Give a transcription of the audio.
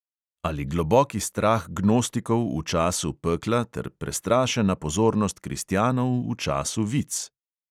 Ali globoki strah gnostikov v času pekla ter prestrašena pozornost kristjanov v času vic?